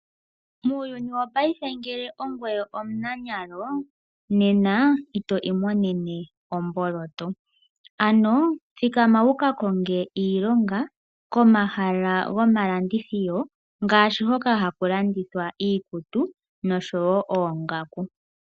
Muuyuni wopayife ngele ongoye omunanyalo, nena ito imonene omboloto. Ano thikama wuka konge iilonga komahala gomalandithilo ngaashi hoka haku landithwa iikutu nosho wo oongaku.